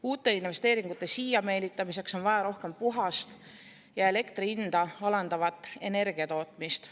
Uute investeeringute siia meelitamiseks on vaja rohkem puhast ja elektri hinda alandavat energiatootmist.